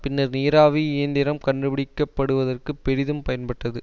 பின்னர் நீராவி இயந்திரம் கண்டுபிடிக்கப்படுவதற்குப் பெரிதும் பயன்பட்டது